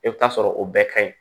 E bɛ taa sɔrɔ o bɛɛ ka ɲi